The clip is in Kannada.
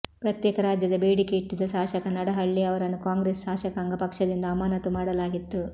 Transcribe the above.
ಪ್ರತ್ಯೇಕ ರಾಜ್ಯದ ಬೇಡಿಕೆ ಇಟ್ಟಿದ್ದ ಶಾಸಕ ನಡಹಳ್ಳಿ ಅವರನ್ನು ಕಾಂಗ್ರೆಸ್ ಶಾಸಕಾಂಗ ಪಕ್ಷದಿಂದ ಅಮಾನತು ಮಾಡಲಾಗಿತ್ತು